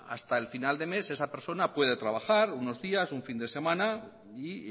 hasta el final de mes esa persona puede trabajar unos días un fin de semana y